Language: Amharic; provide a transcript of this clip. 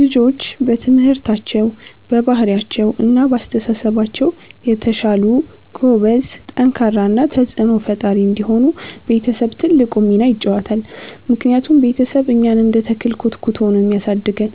ልጆች በትምህርታቸው፣ በባህሪያቸው እና በአስተሳሰባቸው የተሻሉ፣ ጎበዝ፣ ጠንካራ እና ተጽዕኖ ፈጣሪ እንዲሆኑ ቤተሰብ ትልቁን ሚና ይጫወታል። ምክንያቱም ቤተሰብ እኛን እንደ ተክል ኮትኩቶ ነው የሚያሳድገን፤